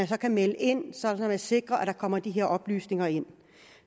kan melde ind sådan at man sikrer at der kommer de her oplysninger ind